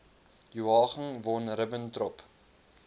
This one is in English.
joachim von ribbentrop